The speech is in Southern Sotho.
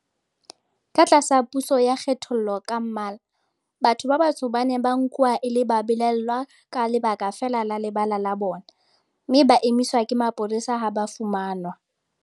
Ka tlasa puso ya kgethollo ka mmala, batho ba batsho ba ne ba nkuwa e le babelaellwa ka lebaka feela la lebala la bona, mme ba emiswa ke mapolesa ha ba fumanwa